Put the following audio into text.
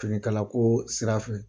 Finikalako sira fɛ